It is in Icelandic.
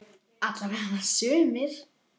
Alla vega sumir.